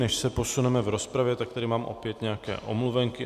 Než se posuneme v rozpravě, tak tady mám opět nějaké omluvenky.